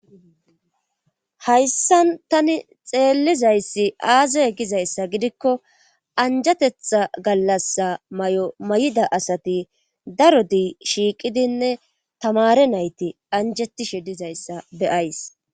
hayssan tani xeellizayssi aazay gizayssa gidikko anjatetha gallasa may7o may7ida asati daro dii shiiqidinne tamare nayti anjetishe dizayssa beyays